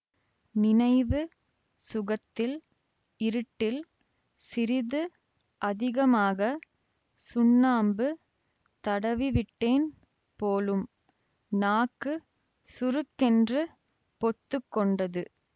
நினைவு சுகத்தில் இருட்டில் சிறிது அதிகமாக சுண்ணாம்பு தடவிவிட்டேன் போலும் நாக்கு சுருக்கென்று பொத்துக்கொண்டது